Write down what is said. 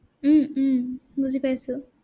উম উম বুজি পাইছো।